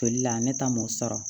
Joli la ne ta m'o sɔrɔ